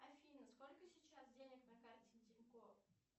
афина сколько сейчас денег на карте тинькофф